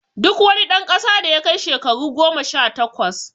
Duk wani dan kasa da yakai shakaru goma sha takwas